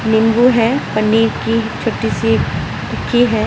निम्बू है पनीर की छोटी सी टिक्की है।